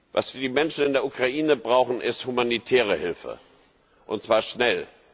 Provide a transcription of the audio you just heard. Was die Menschen in der Ukraine brauchen, ist humanitäre Hilfe, und zwar schnell.